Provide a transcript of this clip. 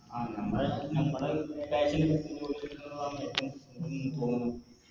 ആ നമ്മള് നമ്മള് കൈവിന് പറ്റിയ Course എടുക്കുന്നതാണ് ഏറ്റോ